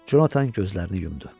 Conatan gözlərini yumdu.